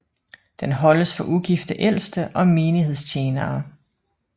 Den holdes for ugifte ældste og menighedstjenere